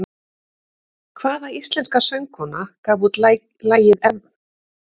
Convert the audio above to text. Hvaða íslenska söngkona gaf út lagið Everyday í lok síðasta árs?